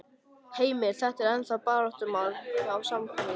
Heimir: Þetta er ennþá baráttumál hjá, hjá Samfylkingunni?